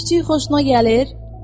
Küçüy xoşuna gəlir?